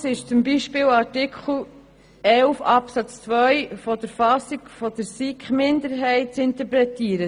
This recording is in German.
Anders ist zum Beispiel Artikel 11 Absatz 2 in der Fassung des SiK-Minderheitsantrags zu interpretieren.